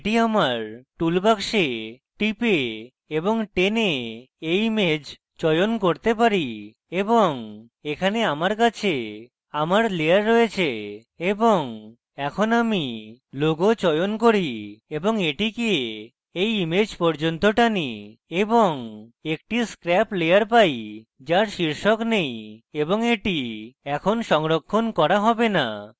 এটি আমার tool box টিপে এবং টেনে এই image চয়ন করতে পারি এবং এখানে আমার কাছে আমার layer রয়েছে এবং এখন আমি logo চয়ন করি এবং এটিকে এই image পর্যন্ত টানি এবং একটি scrap layer পাই যার শীর্ষক নেই এবং এটি এখন সংরক্ষণ করা have না